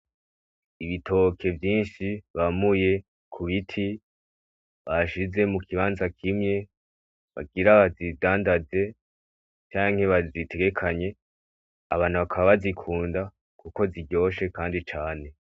Ibitoke vyinshi bamuye ku biti bashize mu kibanza kimwe, bagira babidandaze canke babitekane, abantu bakaba babikunda kuko Ziryoshe kandi cane .